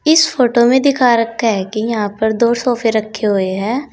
इस फोटो में दिखा रखा है कि यहां पर दो सोफे रखे हुए हैं।